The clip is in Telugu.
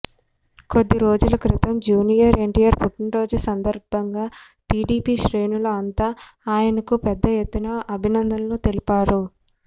కొద్ది రోజుల క్రితం జూనియర్ ఎన్టీఆర్ పుట్టినరోజు సందర్భంగా టీడీపీ శ్రేణులు అంతా ఆయనకు పెద్దఎత్తున అభినందనలు తెలిపారు